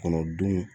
Kɔnɔ dun